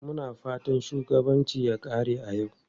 Muna fatan mugun shugabanci ya kare a yau.